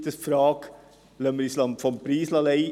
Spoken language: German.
Oder: Lassen wir uns vom Preis leiten?